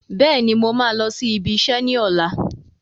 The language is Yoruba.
Bẹ́ẹ̀ni, mo máa lọ sí ibi iṣẹ́ ni ọ̀la.